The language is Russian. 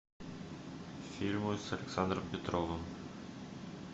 фильмы с александром петровым